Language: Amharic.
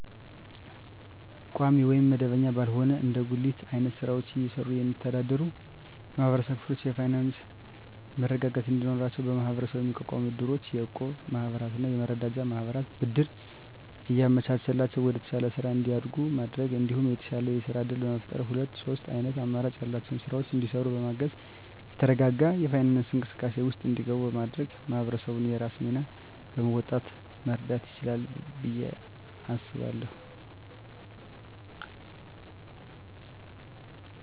ቋሚ ወይም መደበኛ ባልሆነ እንደ ጉሊት አይነት ስራወችን እየሰሩ የሚስተዳደሩ የማህበረሰብ ክፍሎች የፋይናንሰ መረጋጋት እንዲኖራቸው በመሀበረሰቡ የሚቋቋሙ እድሮች፣ የእቁብ ማህበራትና የመረዳጃ ማህበራት ብድር እያመቻቸላቸው ወደተሻለ ስራ እንዲያድጉ በማድረግ እንዲሁም የተሻለ የስራ እድል በመፍጠርና ሁለት ሶስት አይነት አማራጭ ያላቸውን ስራወች እንዲሰሩ በማገዝ የተረጋጋ የፋይናንስ እንቅስቃሴ ውስጥ እንዲገቡ በማድረግ ማህበረሰቡ የራሱን ሚና በመወጣት መርዳት ይችላል ብየ አስባለሁ።